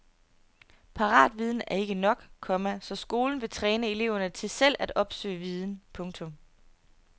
Paratviden er ikke nok, komma så skolen vil træne eleverne til selv at opsøge viden. punktum